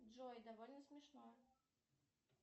джой довольно смешно